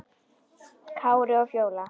Kári og Fjóla.